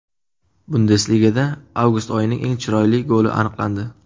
Bundesligada avgust oyining eng chiroyli goli aniqlandi .